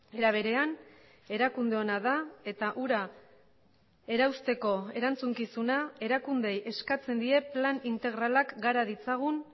era berean erakunde ona da eta hura erausteko erantzukizuna erakundeei eskatzen die plan integralak gara ditzagun